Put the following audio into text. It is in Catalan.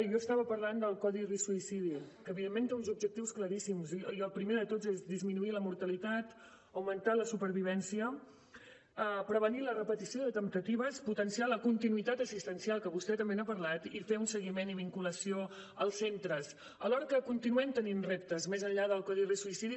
jo estava parlant del codi risc suïcidi que evidentment té uns objectius claríssims i el primer de tots és disminuir la mortalitat augmentar la supervivència prevenir la repetició de temptatives potenciar la continuïtat assistencial que vostè també n’ha parlat i fer un seguiment i vinculació als centres alhora que continuem tenint reptes més enllà del codi risc suïcidi